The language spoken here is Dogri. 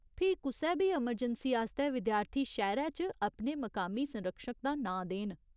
फ्ही, कुसै बी अमरजैंसी आस्तै विद्यार्थी शैह्‌रै च अपने मकामी संरक्षक दा नांऽ देन।